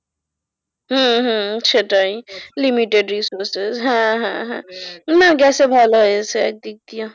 হম হম সেটাই limited হ্যাঁ হ্যাঁ হ্যাঁ গেছে ভালো হয়েছে একদিক দিয়া।